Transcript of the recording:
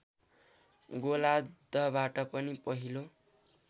गोलार्द्धबाट पनि पहिलो